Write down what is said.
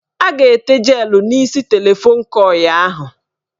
A ga-ete jelụ n' isi telefon kọị ahụ.